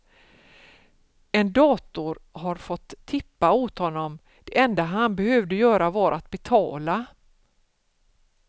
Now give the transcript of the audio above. En dator har fått tippa åt honom, det enda han behövde göra var att betala.